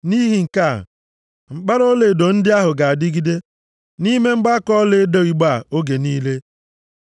Nʼihi nke a, mkpara ọlaedo ndị ahụ ga-adịgide nʼime mgbaaka ọlaedo igbe a oge niile.